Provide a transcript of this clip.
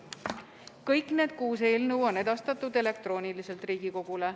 Kõik need kuus eelnõu on edastatud elektrooniliselt Riigikogule.